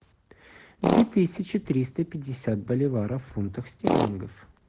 две тысячи триста пятьдесят боливаров в фунтах стерлингов